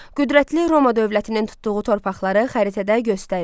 Qüdrətli Roma dövlətinin tutduğu torpaqları xəritədə göstərin.